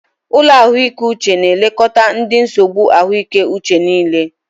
Ụlọ ahụike uche na elekọta ụdị nsogbu ahụike uche niile.